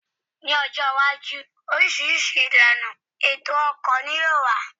Ní ọjọ́ iwájú, oríṣiríṣi ìlànà ètò ọkọ̀ ní yóò wà